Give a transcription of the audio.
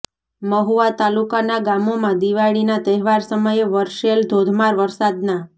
મહુવા તાલુકાના ગામોમા દિવાળીના તહેવાર સમયે વર્ષેલ ધોધમાર વરસાદ ના